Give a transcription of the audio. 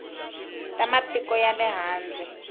ta matiko ya le handle